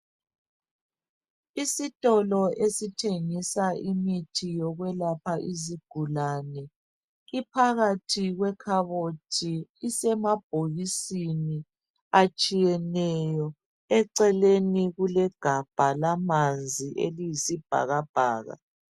Isitolo esithengisa imithi yokwelapha izigulani iphakat kwekhabothi isemabhokisin atshiyeneyo eceleni kulegabha lamanzi eliyisibhakabhaka